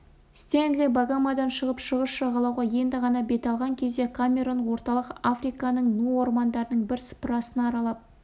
стенли багамодан шығып шығыс жағалауға енді ғана бет алған кезде камерон орталық африканың ну ормандарының бірсыпырасын аралап